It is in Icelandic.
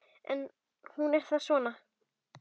Hún er þá svona!